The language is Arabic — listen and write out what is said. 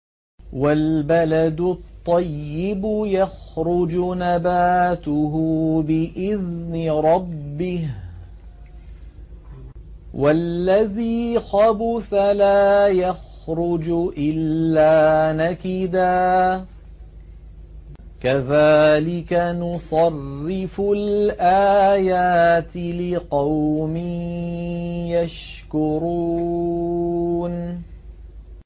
وَالْبَلَدُ الطَّيِّبُ يَخْرُجُ نَبَاتُهُ بِإِذْنِ رَبِّهِ ۖ وَالَّذِي خَبُثَ لَا يَخْرُجُ إِلَّا نَكِدًا ۚ كَذَٰلِكَ نُصَرِّفُ الْآيَاتِ لِقَوْمٍ يَشْكُرُونَ